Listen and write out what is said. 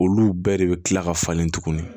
Olu bɛɛ de bɛ kila ka falen tuguni